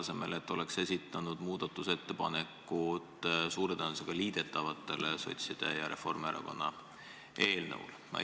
Selle asemel oleks võinud esitada muudatusettepaneku suure tõenäosusega liidetavate sotside ja Reformierakonna eelnõude kohta.